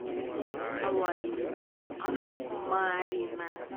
алаида ашмарина